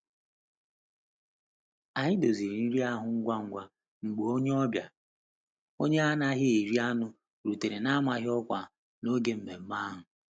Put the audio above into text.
Anyị doziri nri ahụ ngwa ngwa mgbe onye ọbịa onye anaghị eri anụ rutere n'amaghị ọkwa n'oge nmenme ahụ.